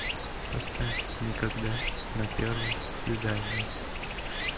поставь никогда на первом свидании